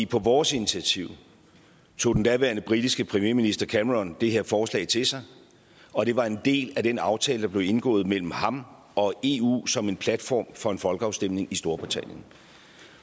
på vores initiativ tog den daværende britiske premierminister cameron det her forslag til sig og det var en del af den aftale der blev indgået mellem ham og eu som en platform for en folkeafstemning i storbritannien